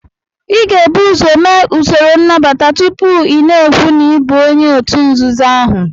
Ị ga-ebu ụzọ mee usoro nnabata tupu ị na-ekwu na ị bụ onye òtù nzuzo ahụ